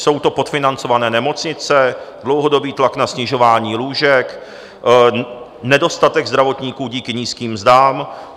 Jsou to podfinancované nemocnice, dlouhodobý tlak na snižování lůžek, nedostatek zdravotníků díky nízkým mzdám.